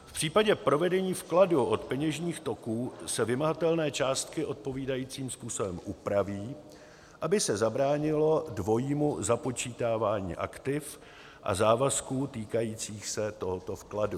V případě provedení vkladu do peněžních toků se vymahatelné částky odpovídajícím způsobem upraví, aby se zabránilo dvojímu započítávání aktiv a závazků týkajících se tohoto vkladu.